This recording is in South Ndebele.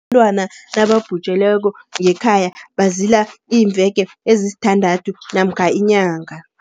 Abantwana nababhujelweko ngekhaya bazila iimveke ezisithandathu namkha inyanga.